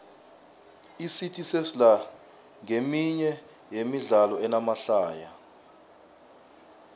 icity sesla nqeminye yemidlalo enamahlaya